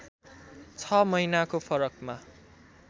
छ महिनाको फरकमा